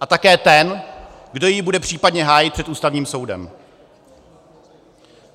A také ten, kdo ji bude případně hájit před Ústavním soudem.